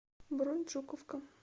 бронь жуковка